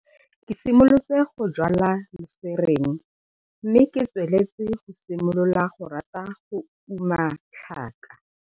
Ke siimolotse go jwala luserene mme ke tsweletse go simolola go rata go uma tlhaka.